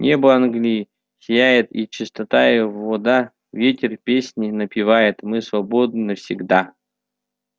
небо англии сияет и чистота её вода ветер песни напевает мы свободны всегда